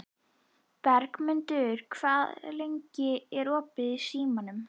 Bergmundur, hvað er lengi opið í Símanum?